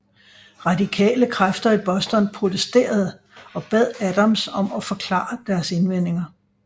Radikale kræfter i Boston protesterede og bad Adams om at forklare deres indvendinger